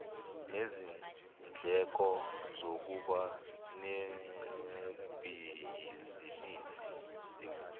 nezindleko zokuba nebhizinisi